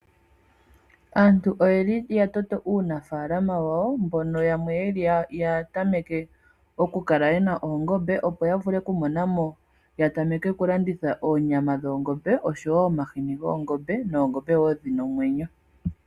Aantu oyeli ya toto uunafaalama wawo, mbono yamwe yeli ya tameke oku kala yena oongombe opo ya vule oku mona mo, ya tameke oku landitha oonyama dhoongombe, oshowo omahini goongombe noongombe wo dhi na omwenyo.